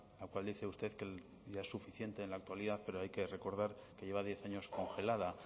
la cual dice usted que ya es suficiente en la actualidad pero hay que recordar que lleva diez años congelada